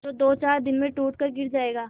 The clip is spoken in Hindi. जो दोचार दिन में टूट कर गिर जाएगा